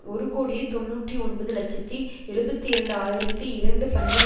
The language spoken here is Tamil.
ஒரு கோடியே தொன்னூற்றி ஒன்பது இலட்சத்தி எழுபத்தி இரண்டு ஆயிரத்தி இரண்டு பன்முக